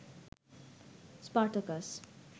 Spartacus